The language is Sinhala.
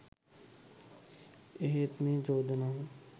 එහෙත් එම චෝදනාව